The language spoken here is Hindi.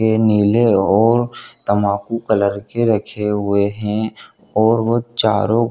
ये नीले और तमाकू कलर के रखे हुवे हैं और वह चारो --